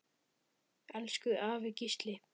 Elsku afi Gísli.